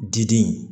Diden